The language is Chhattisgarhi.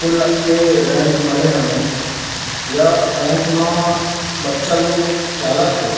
कुलक के रैम्प बने हवे या रैम्प मा बच्चा लोग खेलत थे।